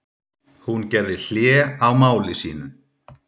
Hún gerði hlé á máli sínu.